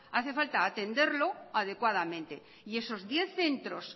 hace falta atenderlo adecuadamente y esos diez centros